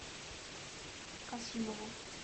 касимову